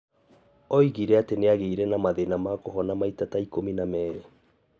Oigire atĩ nĩ agĩire na mathĩna ma kũhona maita ta ikũmi na merĩ.